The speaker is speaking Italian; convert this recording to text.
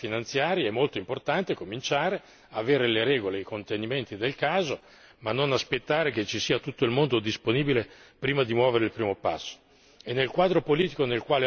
Davvero, quando si parla di attività finanziarie è molto importante cominciare, avere le regole e i contenimenti del caso, ma non aspettare che tutti siano disponibili prima di muovere il primo passo.